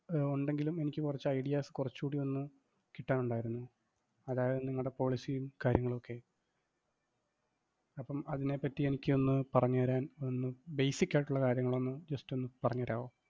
ഒണ്ടെങ്കിലും എനിക്ക് കൊറച്ചു ideas കൊറച്ച് കൂടി ഒന്ന് കിട്ടാനുണ്ടായിരുന്നു. അതായത് നിങ്ങടെ policy ഉം കാര്യങ്ങളും ഒക്കെ. അപ്പം അതിനെപ്പറ്റി എനിക്കൊന്നു പറഞ്ഞു തരാൻ ഒന്ന് basic ആയിട്ടുള്ള കാര്യങ്ങളൊന്നു just ഒന്ന് പറഞ്ഞു തരാവോ?